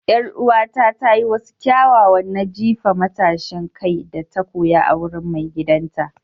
Yar'uwata ta yi wasu kyawawa na jifa matashin kai da ta koya a wurin maigidanta.